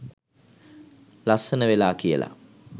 ලස්සන වෙලා කියලා.